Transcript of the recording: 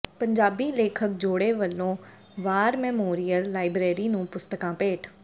ਪੰਜਾਬੀ ਲੇਖਕ ਜੋੜੇ ਵੱਲੋਂ ਵਾਰ ਮੈਮੋਰੀਅਲ ਲਾਇਬ੍ਰੇਰੀ ਨੂੰ ਪੁਸਤਕਾਂ ਭੇਟ